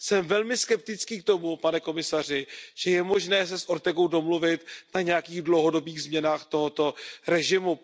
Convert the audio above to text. Jsem velmi skeptický k tomu, pane komisaři, že je možné se s Ortegou domluvit na nějakých dlouhodobých změnách tohoto režimu.